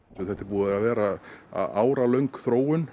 þetta er búin að vera áralöng þróun